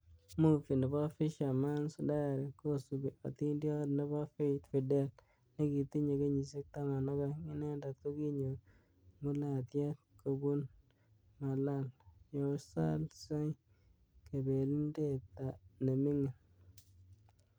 Movi nebo Fisherman's Diary, kosubi ationdiot nebo Faith Fidel nekitinye kenyishiek 12. inendet kokinyor ngulatiet kobunbMalal Yousalzai , kabelindet nemi'ngin.